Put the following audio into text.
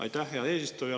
Aitäh, hea eesistuja!